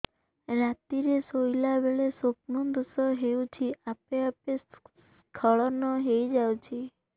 ରାତିରେ ଶୋଇଲା ବେଳେ ସ୍ବପ୍ନ ଦୋଷ ହେଉଛି ଆପେ ଆପେ ସ୍ଖଳନ ହେଇଯାଉଛି